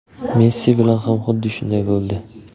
Messi bilan ham xuddi shunday bo‘ldi.